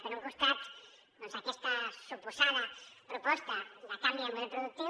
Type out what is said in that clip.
per un costat aquesta suposada proposta de canvi de model productiu